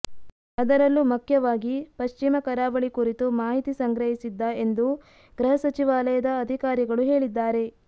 ಅದರಲ್ಲೂ ಮಖ್ಯವಾಗಿ ಪಶ್ಚಿಮ ಕರಾವಳಿ ಕುರಿತು ಮಾಹಿತಿ ಸಂಗ್ರಹಿಸಿದ್ದ ಎಂದು ಗೃಹ ಸಚಿವಾಲಯದ ಅಧಿಕಾರಿಗಳು ಹೇಳಿದ್ದಾರೆ